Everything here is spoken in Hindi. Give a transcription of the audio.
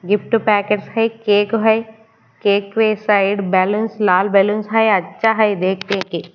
गिफ्ट पैकेट्स है केक है केक पे साइड बैलेंस लाल बैलेंस है अच्छा है देख देख के--